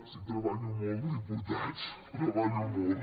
sí treballo molt diputats treballo molt